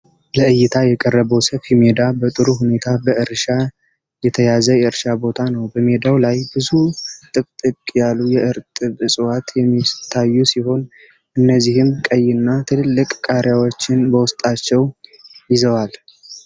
ለዕይታ የቀረበው ሰፊ ሜዳ በጥሩ ሁኔታ በእርሻ የተያዘ የእርሻ ቦታ ነው። በሜዳው ላይ ብዙ ጥቅጥቅ ያሉ የእርጥብ እፅዋቶች የሚታዩ ሲሆን፣ እነዚህም ቀይና ትልልቅ ቃሪያዎችን በውስጣቸው ይዘዋል።